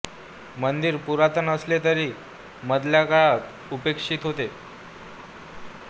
मंदिर पुरातन असले तरी मधल्या काळात उपेक्षित होते